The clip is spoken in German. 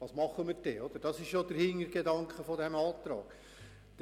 Das ist ja der Hintergedanke, der diesem Antrag zugrunde liegt.